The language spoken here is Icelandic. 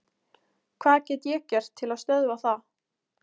Hvað get ég gert til að stöðva það?